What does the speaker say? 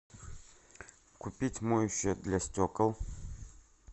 купить моющее для стекол